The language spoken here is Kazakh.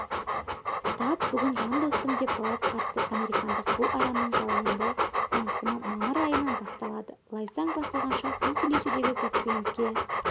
тап бүгін жас достым деп жауап қатты американдық бұл араның жауынды маусымы мамыр айынан басталады лайсаң басталғанша сан-феличедегі гациендке